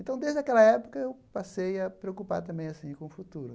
Então, desde aquela época, eu passei a preocupar também assim com o futuro.